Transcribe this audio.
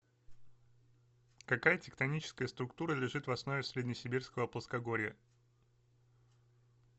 какая тектоническая структура лежит в основе среднесибирского плоскогорья